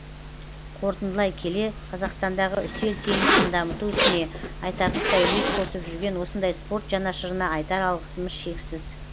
қорытындылай келе қазақстандағы үстел теннисін дамыту ісіне айтарлықтай үлес қосып жүрген осындай спорт жанашырына айтар алғысымыз шексіз